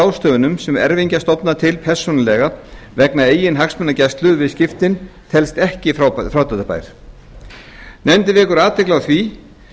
ráðstöfunum sem erfingjar stofna til persónulega vegna eigin hagsmunagæslu við skiptin telst ekki frádráttarbær nefndin vekur athygli á því